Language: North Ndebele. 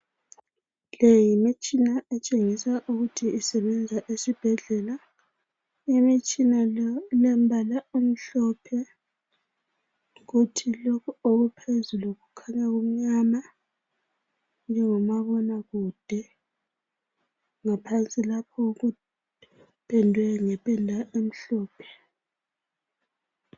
Le yimitshina etshengisa ukuthi isebenza esibhedlela Imitshina ilombala omhlophe kuthi lokhu ukuphezulu kukhanya kumnyama njengomabona kude ngaphansi lapho kupendwe ngependa emhlophe